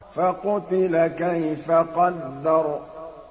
فَقُتِلَ كَيْفَ قَدَّرَ